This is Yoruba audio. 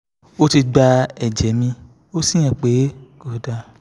ó ti gba ẹ̀jẹ̀ mi ó sì hàn pé kò dáa